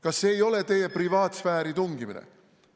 Kas see ei ole teie privaatsfääri tungimine?